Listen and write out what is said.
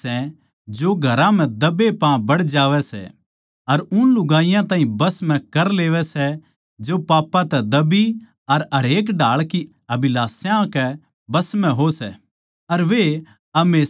इन्ने म्ह तै वे माणस सै जो घरां म्ह दबे पाँ बड़ जावैं सै अर उन लुगाईयाँ ताहीं बस म्ह कर लेवैं सै जो पापां तै दबी अर हरेक ढाळ की अभिलाषायां कै बस म्ह हो सै